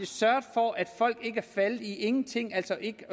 sørget for at folk ikke er faldet i ingenting altså ikke